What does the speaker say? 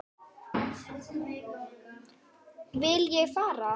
Vil ég fara?